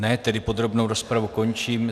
Ne, tedy podrobnou rozpravu končím.